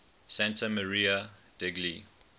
santa maria degli